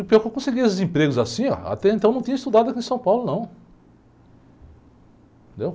E pior que eu conseguia esses empregos assim, até então não tinha estudado aqui em São Paulo, não.